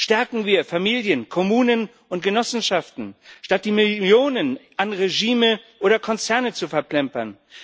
Stärken wir Familien, Kommunen und Genossenschaften, statt die Millionen an Regime oder Konzerne zu verplempern!